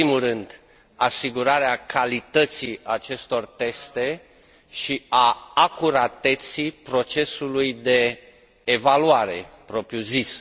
În primul rând, asigurarea calității acestor teste și a acurateței procesului de evaluare propriu zis.